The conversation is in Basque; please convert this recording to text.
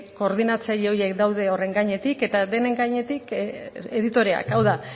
koordinatzaile horiek daude horren gainetik eta denen gainetik editoreak hau da